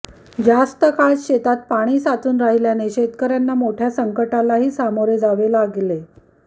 जास्त काळ शेतात पाणी साचून राहिल्याने शेतकऱयांना मोठय़ा संकटालाही सामोरे जावे लागले